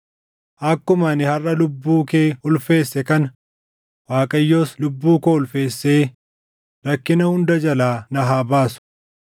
Akkuma ani harʼa lubbuu kee ulfeesse kana, Waaqayyos lubbuu koo ulfeessee rakkina hunda jalaa na haa baasu.”